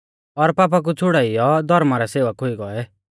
और पापा कु छ़ुड़ाइयौ धौर्मा रै सेवक हुई गौऐ